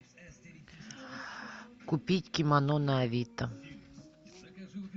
купить кимоно на авито